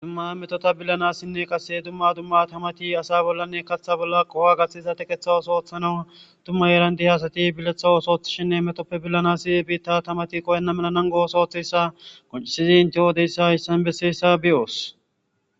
dumma metota billanassinne qasse dumma dumma tamati asa bollanne kaththa bolla qoho gaththiza tekeththa osooththana dumma yeerandi hasati biletha osothshinne metoppe billanasi biitta tamati qoyenna melanan go7os ooththessa qoncisizi inte oodeyssa issan besseessa biyoos